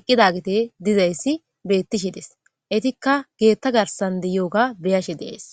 eqqidagete dizayssi beettishe des. Etikka geetta garsan deyoga beyashe deyays.